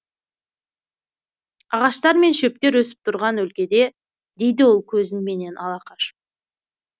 ағаштар мен шөптер өсіп тұрған өлкеде дейді ол көзін менен ала қашып